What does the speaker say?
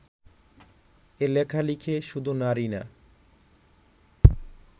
এ লেখা লিখে শুধু নারী না